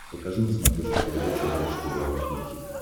покажи на смотрешке передачу бридж тв русский хит